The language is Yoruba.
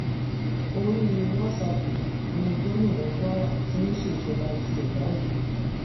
orí wàsápù ni gómìnà kwara ti ń ṣèjọba tiẹ̀ báyìí